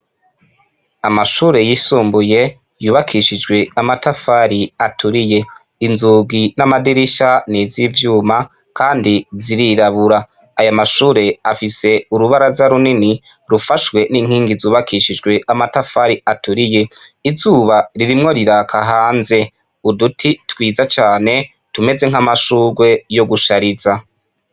Amashure yisumbuye yubakishijwe amatafari aturiye inzugi n'amadirisha n'iz' ivyuma, kandi zirirabura aya mashure afise urubara za runini rufashwe n'inkingi zubakishijwe amatafari aturiye izuba ririmwo riraka hanze uduti twiza cane tumeze nk'amashurwe yo gushariza.